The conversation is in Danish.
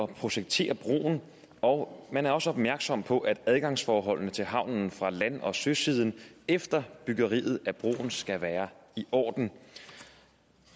projektere broen og man er også opmærksom på at adgangsforholdene til havnen fra land og søsiden efter byggeriet af broen skal være i orden